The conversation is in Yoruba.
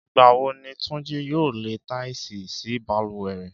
Ìgbà wo ni Túnjí yóò lẹ táìsì sí balùwẹ̀ rẹ̀?